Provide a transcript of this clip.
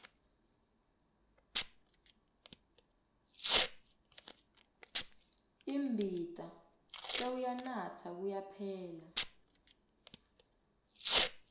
imbita sewuyanatsa kuyaphela